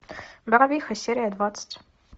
барвиха серия двадцать